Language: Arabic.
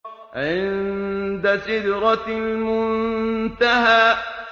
عِندَ سِدْرَةِ الْمُنتَهَىٰ